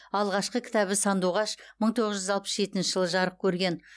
алғашқы кітабы сандуғаш мың тоғыз жүз алпыс жетінші жылы жарық көрген